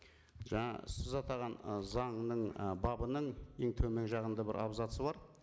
жаңа сіз атаған ы заңның ы бабының ең төмен жағында бір абзацы бар